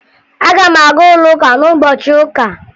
Aga m aga ụlọụka n'ụbọchị ụka